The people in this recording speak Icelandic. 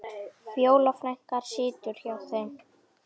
Fjóla frænka situr hjá þeim.